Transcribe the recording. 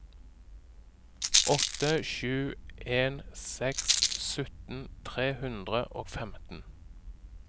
åtte sju en seks sytten tre hundre og femten